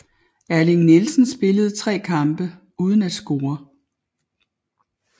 Erling Nielsen spillede tre kampe uden at score